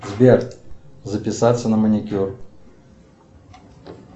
сбер записаться на маникюр